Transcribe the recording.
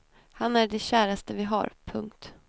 Han är det käraste vi har. punkt